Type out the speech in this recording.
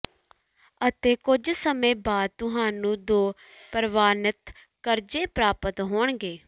ਅਤੇ ਕੁਝ ਸਮੇਂ ਬਾਅਦ ਤੁਹਾਨੂੰ ਦੋ ਪ੍ਰਵਾਨਿਤ ਕਰਜ਼ੇ ਪ੍ਰਾਪਤ ਹੋਣਗੇ